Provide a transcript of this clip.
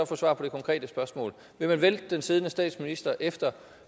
få svar på det konkrete spørgsmål vil man vælte den siddende statsminister efter